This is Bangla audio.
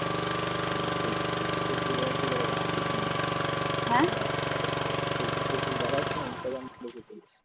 ফেসবুক ঘাঁটছিস নাকি ফেসবুক ফেসবুক দেখা হচ্ছে না ইন্সট্রাগ্রাম করিস?